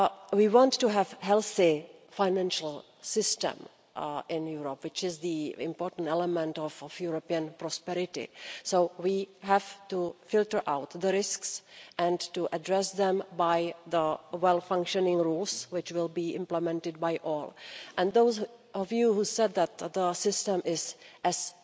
We want to have a healthy financial system in Europe, which is the important element of European prosperity, so we have to filter out the risks and address them through properly functioning rules to be implemented by all. And to those of you who said that our system is only as